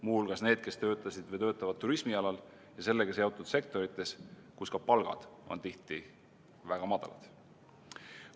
Muu hulgas need, kes töötasid või töötavad turismi alal ja sellega seotud sektorites, kus ka palgad on tihti väga madalad.